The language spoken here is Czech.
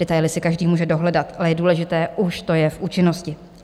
Detaily si každý může dohledat, ale je důležité, už to je v účinnosti.